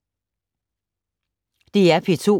DR P2